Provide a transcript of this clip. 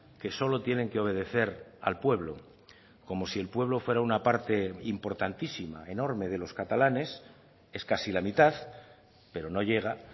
que solo tienen que obedecer al pueblo como si el pueblo fuera una parte importantísima enorme de los catalanes es casi la mitad pero no llega